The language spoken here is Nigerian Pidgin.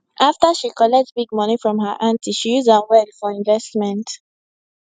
after she collect big money from her aunty she use am well for investment